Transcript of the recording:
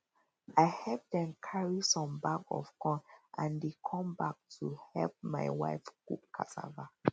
i help them carry some bag of corn and they come back to help my wife cook cassava